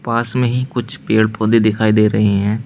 पास में ही कुछ पेड़ पौधे दिखाई दे रहे हैं।